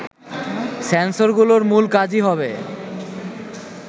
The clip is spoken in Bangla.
সেন্সরগুলোর মূল কাজই হবে